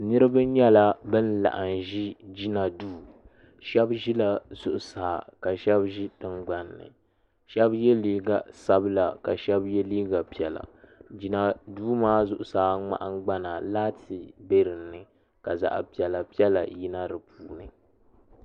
Niraba nyɛla bin laɣim ʒi jina duu shaba ʒila zuɣusaa ka shaba ʒi tingbanni shaba yɛ liiga sabila ka shaba yɛ liiga piɛla jina duu maa zuɣusaa nahangbana laati bɛ dinni ka zaɣ'piɛla piɛla yina di puuni